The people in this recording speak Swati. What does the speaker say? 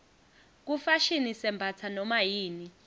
kufashini sembatsa nomayini